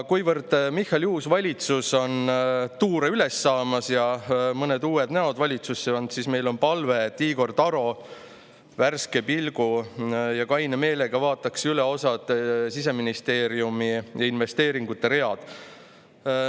Kuivõrd Michali uus valitsus on tuure üles saamas ja valitsuses on mõned uued näod, siis meil on palve, et Igor Taro vaataks värske pilgu ja kaine meelega üle osa Siseministeeriumi investeeringute ridu.